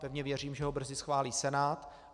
Pevně věřím, že ho brzy schválí Senát.